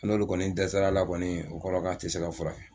N'olu kɔni dɛsɛsara la kɔni o kɔrɔ ye k'a ti se ka furakɛ